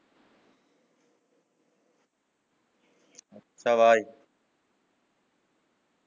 আচ্ছা, bye